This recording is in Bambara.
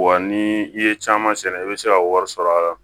Wa ni i ye caman sɛnɛ i bɛ se ka wari sɔrɔ a la